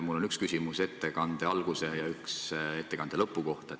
Mul on üks küsimus ettekande alguse ja üks ettekande lõpu kohta.